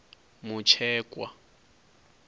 mutshekwa